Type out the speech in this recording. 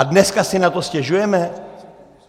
A dneska si na to stěžujeme?